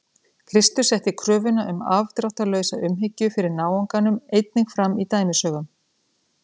Kristur setti kröfuna um afdráttarlausa umhyggju fyrir náunganum einnig fram í dæmisögum.